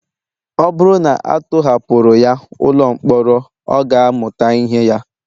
Ọ bụrụ na a tọhapụrụ ya ụlọ mkpọrọ ọ ga-amụta ihe ya